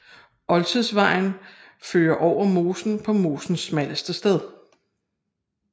Oldtidsvejen fører over mosen på mosens smalleste sted